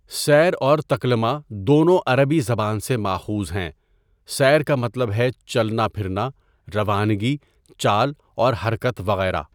سیر اور تکلمہ دونوں عربی زبان سے ماخوذ ہیں سًیر کا مطلب ہے چلنا پھرنا، روانگی، چال اور حرکت وغیرہ ،.